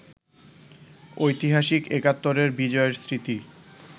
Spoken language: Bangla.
ঐতিহাসিক একাত্তরের বিজয়ের স্মৃতি